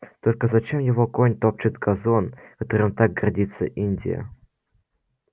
только зачем его конь топчет газон которым так гордится индия